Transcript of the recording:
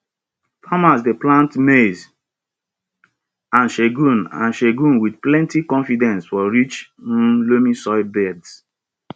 farmas dey plant maize and sorghum and sorghum with plenty confidence for rich um loamy soil beds